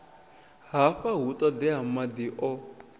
hafha hu ṱoḓea maḓi o